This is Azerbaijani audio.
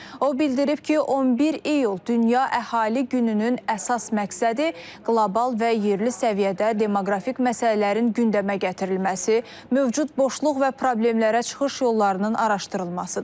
O bildirib ki, 11 iyul Dünya Əhali Gününün əsas məqsədi qlobal və yerli səviyyədə demoqrafik məsələlərin gündəmə gətirilməsi, mövcud boşluq və problemlərə çıxış yollarının araşdırılmasıdır.